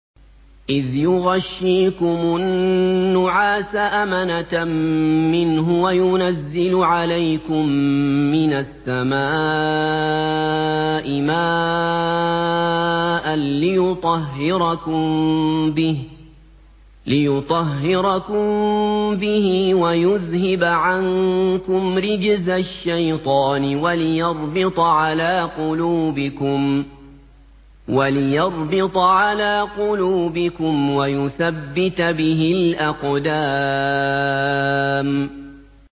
إِذْ يُغَشِّيكُمُ النُّعَاسَ أَمَنَةً مِّنْهُ وَيُنَزِّلُ عَلَيْكُم مِّنَ السَّمَاءِ مَاءً لِّيُطَهِّرَكُم بِهِ وَيُذْهِبَ عَنكُمْ رِجْزَ الشَّيْطَانِ وَلِيَرْبِطَ عَلَىٰ قُلُوبِكُمْ وَيُثَبِّتَ بِهِ الْأَقْدَامَ